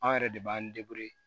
Anw yɛrɛ de b'an